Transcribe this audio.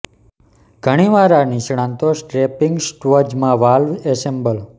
ઘણી વાર આ નિષ્ણાતો સ્ટ્રેપિંગ સ્ટવ્ઝ માં વાલ્વ એસેમ્બલ